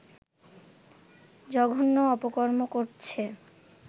জঘন্য অপকর্ম করছে